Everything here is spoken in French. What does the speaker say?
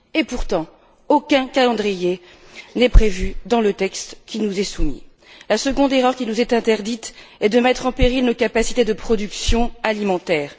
Et pourtant, aucun calendrier n'est prévu dans le texte qui nous est soumis. La seconde erreur qui nous est interdite est de mettre en péril nos capacités de production alimentaire.